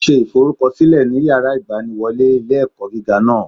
Ó ṣe ìforúkọsílẹ ní yàrá ìgbaniwọlé ilé ẹkọ gíga náà